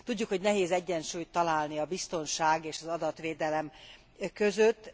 Tudjuk, hogy nehéz egyensúlyt találni a biztonság és az adatvédelem között.